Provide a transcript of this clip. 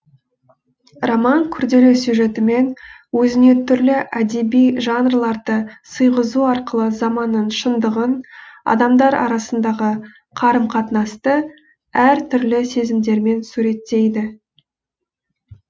роман күрделі сюжетімен өзіне түрлі әдеби жанрларды сыйғызу арқылы заманның шындығын адамдар арасындағы қарым қатынасты әр түрлі сезімдермен суреттейді